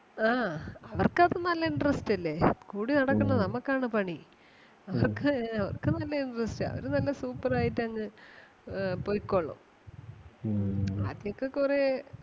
ആ അവർക്ക് അത് നല്ല interest അല്ലേ കൂടെ നടക്കുന്ന നമുക്ക് ആണ് പണി. അവർക്ക് അവർക്ക് നല്ല interest ആ അവര് നല്ല super ആയിട്ട് അങ്ങ് അഹ് പൊയ്ക്കൊള്ളും. ആദ്യോക്കെ കൊറേ